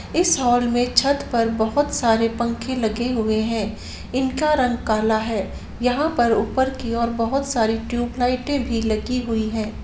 इस हॉल में छत पर बहुत सारे पंखे लगे हुए है इनका रंग काला है यहाँ पर ऊपर की ओर बहुत सारी ट्यूब लाइटें भी लगी हुई हैं।